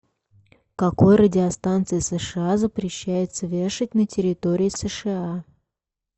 какой радиостанции сша запрещается вешать на территории сша